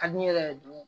Ka di ne yɛrɛ ye dun